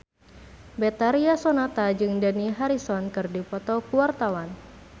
Betharia Sonata jeung Dani Harrison keur dipoto ku wartawan